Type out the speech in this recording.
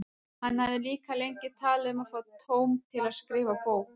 Hann hafði líka lengi talað um að fá tóm til að skrifa bók.